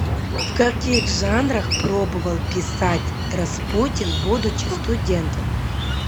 в каких жанрах пробовал писать распутин будучи студентом